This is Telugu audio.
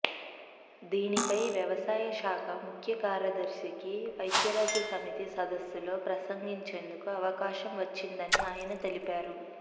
దీనిపై వ్యవసాయ శాఖ ముఖ్య కార్యదర్శికి ఐక్యరాజ్య సమితి సదస్సులో ప్రసగించేందుకు అవకాశం వచ్చిందని ఆయన తెలిపారు